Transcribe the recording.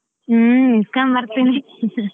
ಹ್ಮ್ ಇಸ್ಕೊಂಡು ಬರ್ತೀನಿ.